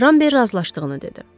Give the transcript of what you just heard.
Rambert razılaşdığını dedi.